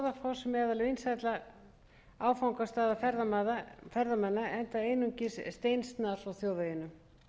meðal vinsælla áfangastaða ferðamanna enda einungis steinsnar frá þjóðveginum